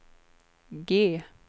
G